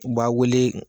U b'a wele